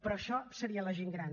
però això seria la gent gran